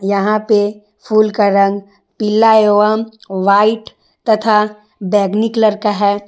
यहां पे फूल का रंग पीला एवं व्हाइट तथा बैगनी कलर का है।